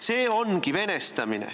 See ongi venestamine.